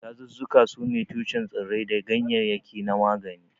Dazuzzuka sune tushen tsirrai da ganyaryaki na magani.